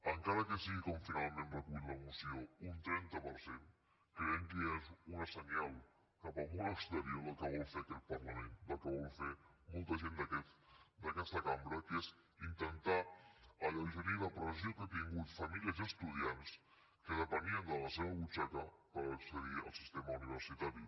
encara que sigui com finalment recull la moció un trenta per cent creiem que ja és un senyal cap al món exterior del que vol fer aquest parlament del que vol fer molta gent d’aquesta cambra que és intentar alleugerir la pressió que han tingut famílies i estudiants que depenien de la seva butxaca per accedir al sistema universitari